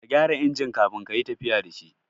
Ka gyara injin kafin kayi tafiya da shi